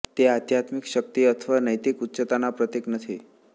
તે આધ્યાત્મિક શક્તિ અથવા નૈતિક ઉચ્ચતાના પ્રતીક નથી